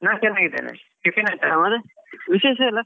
ನಾನ್ ಚೆನ್ನಾಗಿದ್ದೇನೆ tiffin ಆಯ್ತಾ.